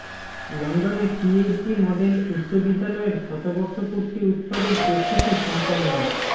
লন্ডনে P H G model উচ্চ বিদ্যালয়ের শতবর্ষ পূর্তি উৎসবের প্রস্তুতি সমপন্ন